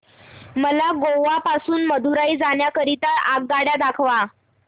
मला गोवा पासून मदुरई जाण्या करीता आगगाड्या दाखवा